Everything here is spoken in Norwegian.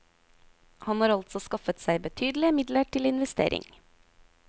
Han har altså skaffet seg betydelige midler til investering.